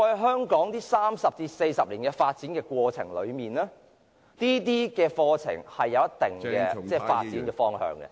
香港在過去三四十年發展過程中，這些課程也有一定的發展方向......